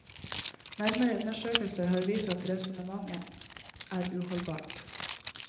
Nærmere undersøkelser har vist at resonnementet er uholdbart.